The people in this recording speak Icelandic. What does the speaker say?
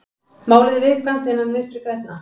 Málið er viðkvæmt innan Vinstri grænna